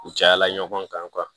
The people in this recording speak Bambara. U cayala ɲɔgɔn kan